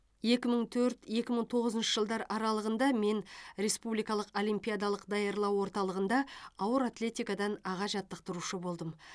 екі мың төрт екі мың тоғызыншы жылдар аралығында мен республикалық олимпиадалық даярлау орталығында ауыр атлетикадан аға жаттықтырушы болдым